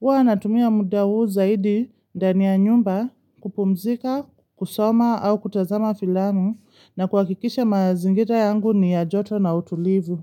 Huwa natumia muda huu zaidi ndani ya nyumba kupumzika, kusoma au kutazama filamu na kuhakikisha mazingira yangu ni ya joto na utulivu.